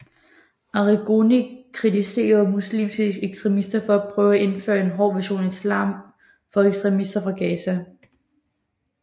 Arrigoni kritiserede muslimske ekstremister for at prøve at indføre en hård version af islam for ekstremister fra Gaza